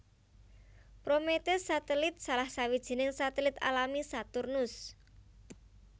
Prometheus satelit salah sawijining satelit alami Saturnus